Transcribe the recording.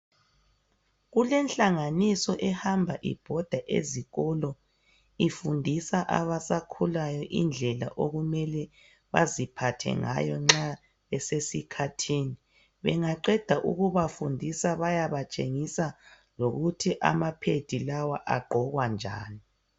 Kulenhlanganiso ehamba ibhoda ezikolo ifundisa abasakhulayo indlela okumele baziphathe ngayo nxa besesikhathini bengaqeda ukubafundisa bayabatshengisa lokuthi ama pad lawa agqokwa njani.